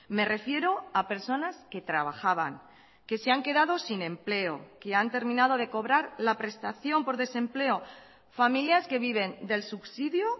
me refiero a personas que trabajaban que se han quedado sin empleo que han terminado de cobrar la prestación por desempleo familias que viven del subsidio